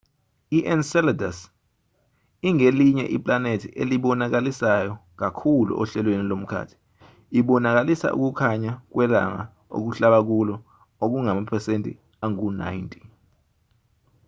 i-enceladus ingelinye iplanethi elibonakalisayo kakhulu ohlelweni lomkhathi ibonakalisa ukukhanya kwelanga okuhlaba kulo okungamaphesenti angu-90